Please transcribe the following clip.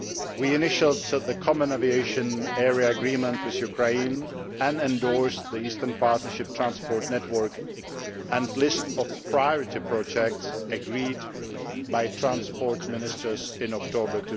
we initialled the Common Aviation Area Agreement with Ukraine and endorsed the Eastern Partnership transport network and list of priority projects agreed by Transport Ministers in October